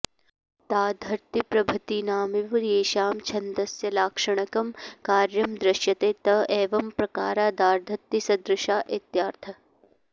दाधर्त्तिप्रभृतीनामिव येषां छन्दस्यलाक्षणिकं कार्यं दृश्यते त एवम्प्रकारा दाधर्त्तिसदृशा इत्यर्थः